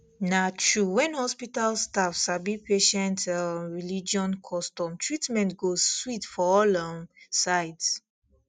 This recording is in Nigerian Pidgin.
na true when hospital staff sabi patient um religion custom treatment go sweet for all um sides